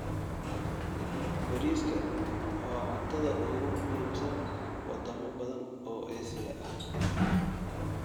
Bariiska: waa cuntada ugu muhiimsan wadamo badan oo Aasiya ah.